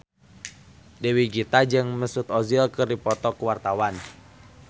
Dewi Gita jeung Mesut Ozil keur dipoto ku wartawan